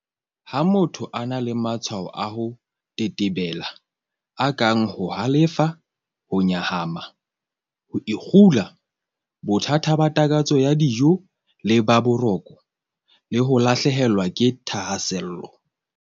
Ha motho a na le matshwao a ho tetebela, a kang ho halefa, ho nyahama, ho ikgula, bothata ba takatso ya dijo le ba boroko, le ho lahlehelwa ke thahasello